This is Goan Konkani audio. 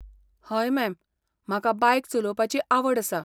हय, मॅम, म्हाका बायक चलोवपाची आवड आसा.